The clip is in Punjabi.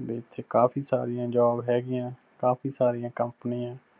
ਬੀ ਇੱਥੇ ਕਾਫ਼ੀ ਸਾਰੀਆਂ job ਹੈਗੀਆਂ, ਕਾਫ਼ੀ ਸਾਰੀਆਂ companies